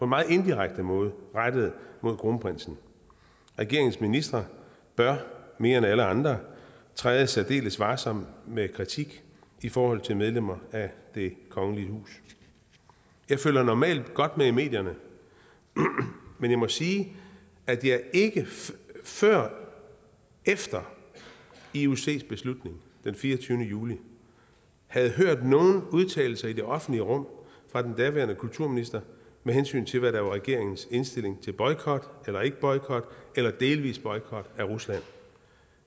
meget indirekte måde rettede mod kronprinsen regeringens ministre bør mere end alle andre træde særdeles varsomt med kritik i forhold til medlemmer af det kongelige hus jeg følger normalt godt med i medierne men jeg må sige at jeg ikke før efter iocs beslutning den fireogtyvende juli havde hørt nogen udtalelser i det offentlige rum fra den daværende kulturminister med hensyn til hvad der var regeringens indstilling til boykot eller ikke boykot eller delvis boykot af rusland